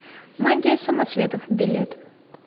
магия самоцветов билет